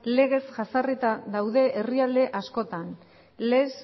legez jazarrita daude herrialde askotan les